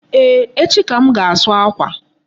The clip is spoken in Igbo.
Eeh, echi ka m ga-asu akwa.